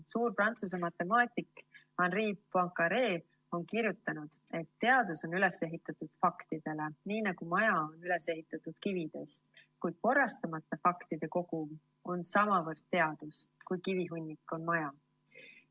Suur Prantsuse matemaatik Henri Poincaré on kirjutanud, et teadus on üles ehitatud faktidele, nii nagu maja on üles ehitatud kividest, kuid korrastamata faktide kogum on samavõrd teadus, kui kivihunnik on maja.